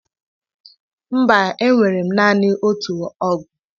Mba! Enwere m naanị otu ọgụ.